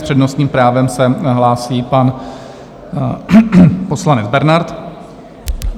S přednostním právem se hlásí pan poslanec Bernard.